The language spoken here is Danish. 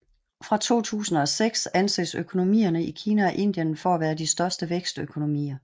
Fra 2006 anses økonomierne i Kina og Indien for at være de største vækstøkonomier